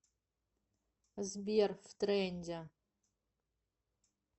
сбер в тренде